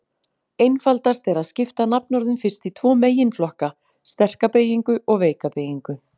Einfaldast er að skipta nafnorðum fyrst í tvo meginflokka: sterka beygingu og veika beygingu.